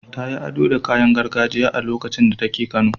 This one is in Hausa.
Ta yi ado da kayan gargajiya a lokacin da take kano.